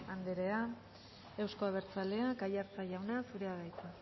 anderea euzko abertzaleak aiartza jauna zurea da hitza